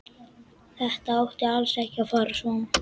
Þetta átti alls ekki að fara svona.